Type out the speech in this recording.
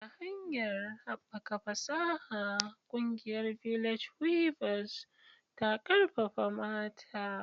Ta hanyar haɓaka fasaha, ƙungiyar "Village Weavers" ta ƙarfafa mata.